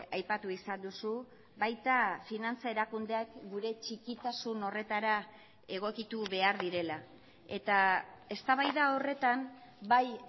aipatu izan duzu baita finantza erakundeak gure txikitasun horretara egokitu behar direla eta eztabaida horretan bai